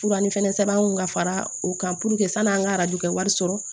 Fura ni fɛnɛ sɛbɛn kun ka fara o kan puruke sanni an ka wari sɔrɔ